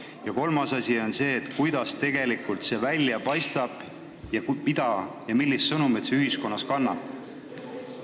Ja kolmas asi on see, kuidas kõik tegelikult välja paistab ning millist sõnumit ühiskonnas kannab.